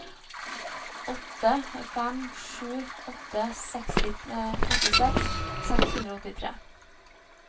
åtte fem sju åtte trettiseks seks hundre og åttitre